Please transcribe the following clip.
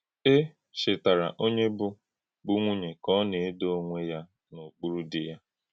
È chetárà onye bụ́ bụ́ nwùnyè ka ọ na-edò onwé ya n’okpuru di ya.